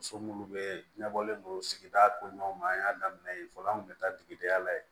Muso munnu be ɲɛbɔlen don sigida koɲumanw ma an y'a daminɛ fɔlɔ an kun be taa tigidenya la ye